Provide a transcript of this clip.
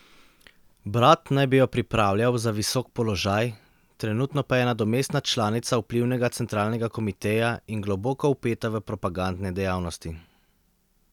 Brat naj bi jo pripravljal za visok položaj, trenutno pa je nadomestna članica vplivnega centralnega komiteja in globoko vpeta v propagandne dejavnosti.